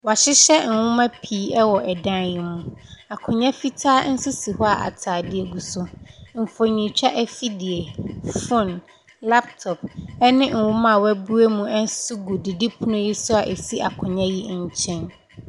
Wɔahyenyɛ nwoma pii wɔ dan yi mu. Akonnwa fitaa nso si hɔ a atadeɛ gu so. Mfonintwa afidie, phone, laptop ne nwoma a wɔabue mu nso gu didipono yi so a ɛsi akonnwa yi nkyɛn.